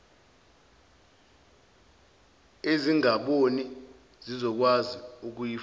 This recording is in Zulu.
ezingaboni zizokwazi ukuyifunda